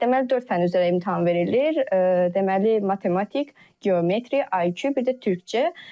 Deməli dörd fənn üzrə imtahan verilir, deməli matematik, geometri, IQ, bir də türkcə.